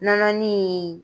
Nɔnɔnin